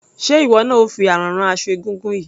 Ṣé ìwọ ni ò fi àrán rán aṣọ egúngún yìí?